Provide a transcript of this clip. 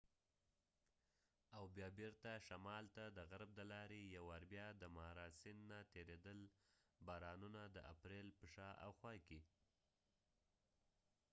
او بیا بیرته شمال ته د غرب د لارې ،یو وار بیا د مارا سیند نه تیریدل، بارانونه د اپریل په شا او خوا کې